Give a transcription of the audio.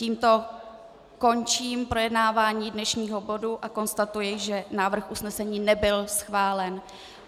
Tímto končím projednávání dnešního bodu a konstatuji, že návrh usnesení nebyl schválen.